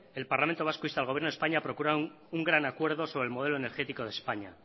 el parlamento vasco insta al gobierno de españa a procurar un gran acuerdo sobre el modelo energético de españa